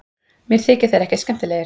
Mér þykja þeir ekkert skemmtilegir